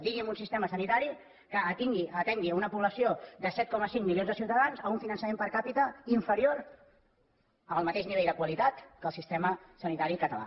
digui’m un sistema sanitari que atengui una població de set coma cinc milions de ciutadans amb un finançament per capitarior al mateix nivell de qualitat que el sistema sanitari català